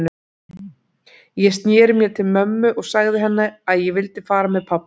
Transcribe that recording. Ég sneri mér til mömmu og sagði henni að ég vildi fara með pabba.